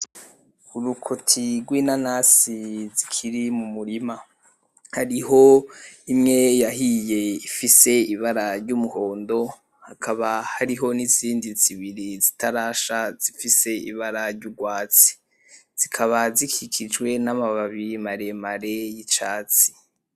Urukoti rw'inanasi zikiri mumurima hariho imwe yahiye ifise ibara ry'umuhondo hakaba hariho nizindi zibiri zitarasha zifise ibara ry'urwatsi zikaba zikikijwe namababi maremare yicatsi.